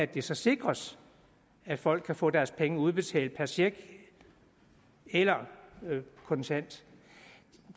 det så sikres at folk kan få deres penge udbetalt per check eller kontant